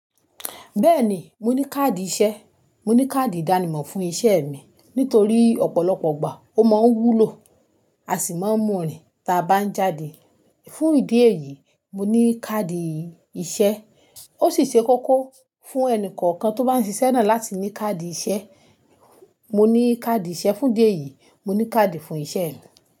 Bẹ́ẹ̀ni, mo ní káàdì iṣẹ́. Mo ní káàdì ìdánimọ̀ fún iṣẹ́ mi. Nítorí ọ̀pọ̀lọpọ̀ ìgbà ó máa wúlò, a sì máa ń mú rìn tí a bá ńjáde. Fún ìdí èyí, mo ní káàdì iṣẹ́. Ó sì ṣe kókó fún ẹni kọ̀ọ̀kan tó bá ń ṣiṣẹ́ náà láti ní káàdì iṣẹ́. Mo ní káàdì iṣẹ́. Fún ìdí èyí, mo ní káàdì fún iṣẹ́ mi.